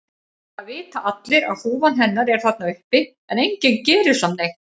Það vita allir að húfan hennar er þarna uppi en enginn gerir samt neitt.